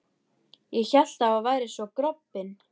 Ég hélt að þú værir svo grobbinn.